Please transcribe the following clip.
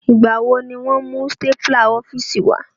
Ìgbà wo ni won á mú stapler ọ́fíìsì wá?